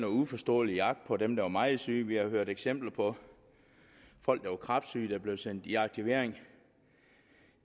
uforståelig jagt på dem der var meget syge vi har hørt eksempler på folk der var kræftsyge der blev sendt i aktivering